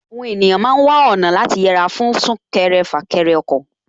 Àwọn ènìyàn ma ń wá ọ̀nà láti yẹra fún súnkẹrẹ fàkẹrẹ ọkọ̀